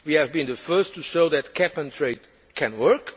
We have been the first to show that cap and trade can work.